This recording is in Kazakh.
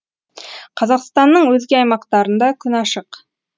қазақстанның өзге аймақтарында күн ашық